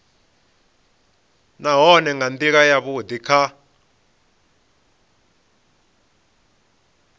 nahone nga ndila yavhudi kha